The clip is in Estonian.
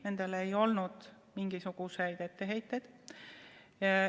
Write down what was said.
Nendel ei olnud mingisuguseid etteheiteid.